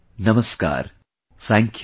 Namaskar, thanks